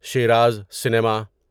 Shiraz cinema